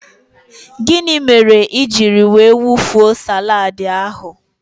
Gịnị mere ijiri wee wufuo salaadi ahụ?